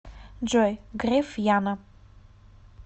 джой греф яна